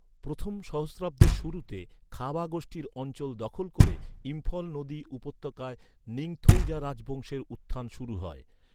প্রথম সহস্রাব্দের শুরুতে, খাবা গোষ্ঠীর অঞ্চল দখল ক’রে, ইম্ফল নদী উপত্যকায় নিংথৌজা রাজবংশের উত্থান শুরু হয়।